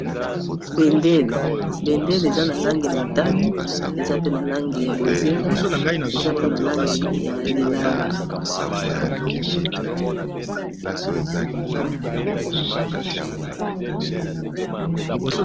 Bendele, bendele eza n'a langi ya motane, eza pe na langi ya bozinga eza pe na Langi ya lilala.